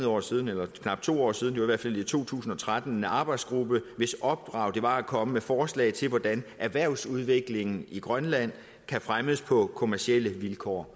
år siden eller for knap to år siden det var i hvert fald i to tusind og tretten en arbejdsgruppe hvis opdrag det var at komme med forslag til hvordan erhvervsudviklingen i grønland kan fremmes på kommercielle vilkår